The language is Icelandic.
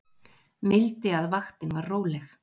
Mildi að vaktin var róleg